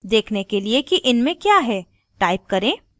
देखने के लिए कि इनमें क्या है type करें: